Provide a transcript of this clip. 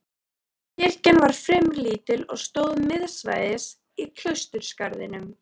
Kirkjan var fremur lítil og stóð miðsvæðis í klausturgarðinum.